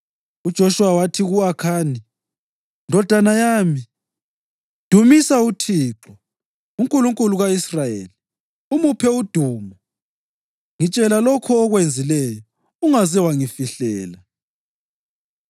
UJoshuwa wathi ku-Akhani, “Ndodana yami, dumisa uThixo, uNkulunkulu ka-Israyeli, umuphe udumo. Ngitshela lokho okwenzileyo, ungaze wangifihlela.”